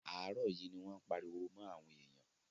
Àárọ̀ yìí ni wọ́n ń pariwo mọ́ àwọn èyàn.